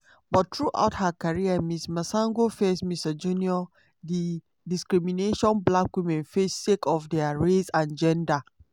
but throughout her career ms masango face misogynoir - di discrimination black women face sake of dia race and gender.